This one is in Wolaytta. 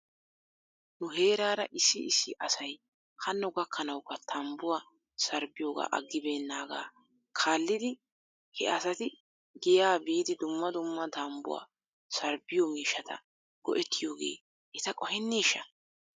Nu heeraara issi issi asay hanno gakkanawukka tambbuwaa sarbbiyoogaa aggibeennaagaa kaalid he asati giyaa biidi dumma dumma tambbuwaa sarbbiyoo miishshata go'ettiyoogee eta qoheneeshsha?